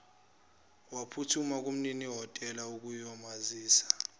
waphuthuma kumninihhotela ukuyomazisa